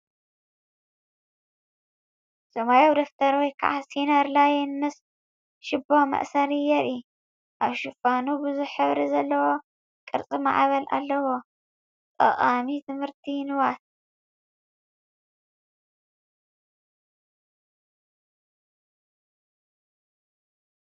ሰማያዊ ደፍተር ወይ ከዓ ሲነር ላይን ምስ ሽቦ መእሰሪ የርኢ። ኣብ ሽፋን ብዙሕ ሕብሪ ዘለዎ ቅርጺ ማዕበል ኣለዎ። ጠቓሚ ትምህርታዊ ንዋት!